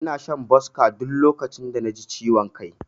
Ina shan Boska duk lokacin da naji ciwon kai.